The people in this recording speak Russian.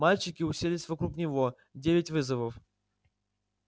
мальчики уселись вокруг него девять вызовов